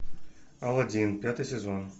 алладин пятый сезон